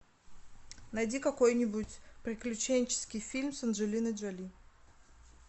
найди какой нибудь приключенческий фильм с анджелиной джоли